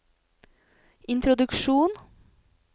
introduksjon